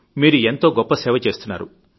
మీరు ఎంతో గొప్ప సేవ చేస్తున్నారు